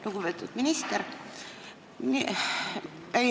Lugupeetud minister!